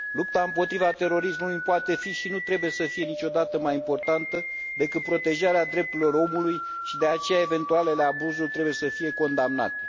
Lupta împotriva terorismului nu poate fi și nu trebuie să fie niciodată mai importantă decât protejarea drepturilor omului și, de aceea, eventualele abuzuri trebuie să fie condamnate.